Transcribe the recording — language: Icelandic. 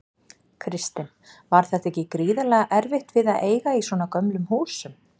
Kristinn: Var þetta ekki gríðarlega erfitt við að eiga í svona gömlum húsum?